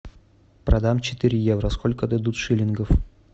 продам четыре евро сколько дадут шиллингов